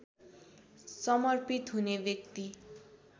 समर्पित हुने व्यक्ति